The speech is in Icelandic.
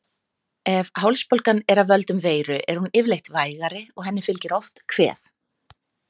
Ef hálsbólgan er af völdum veiru er hún yfirleitt vægari og henni fylgir oft kvef.